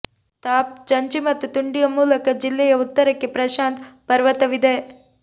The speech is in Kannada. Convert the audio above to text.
ಥಾಪ್ ಚಂಚಿ ಮತ್ತು ತುಂಡಿಯ ಮೂಲಕ ಜಿಲ್ಲೆಯ ಉತ್ತರಕ್ಕೆ ಪ್ರಶಾಂತ್ ಪರ್ವತವಿದೆ